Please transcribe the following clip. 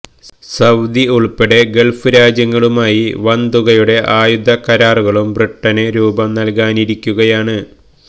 Saudi ഉള്പ്പെടെ Gulf രാജ്യങ്ങളുമായി വന്തുകയുടെ ആയുധ കരാറുകള്ക്കും ബ്രിട്ടന് രൂപം നല്കാനിരിക്കുകയാണ്